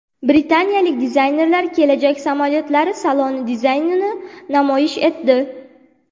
Britaniyalik dizaynerlar kelajak samolyotlari saloni dizaynini namoyish etdi.